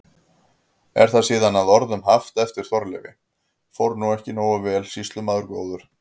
Er það síðan að orðum haft eftir Þorleifi: Fór nú ekki nógu vel, sýslumaður góður?